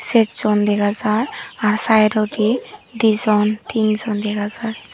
ser jon dega jar r side ondi din jon tin jon dega jar.